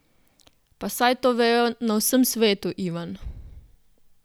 Pa saj to vejo na vsem svetu, Ivan.